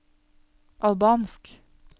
albansk